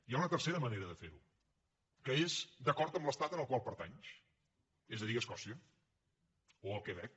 hi ha una tercera manera de fer ho que és d’acord amb l’estat al qual pertanys és a dir escòcia o el quebec